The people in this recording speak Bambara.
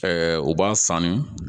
u b'a sanu